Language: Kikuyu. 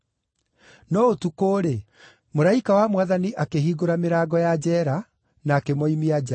No ũtukũ-rĩ, mũraika wa Mwathani akĩhingũra mĩrango ya njeera, na akĩmoimia nja.